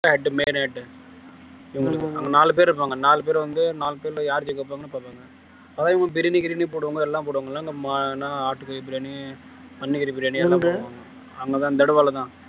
நாலு பேர் இருப்பாங்க நாலு பேர் வந்து நாலு பேர்ல யார்கிட்ட இருப்பாங்கன்னு பார்ப்பாங்க அதே மாதிரி பிரியாணி கிருமி போடுவாங்க எல்லாம் போடுவாங்கல்ல இந்த ஆட்டுக்கறி பிரியாணி பன்னிக்கறி பிரியாணி அங்கதான் தடவாலதான்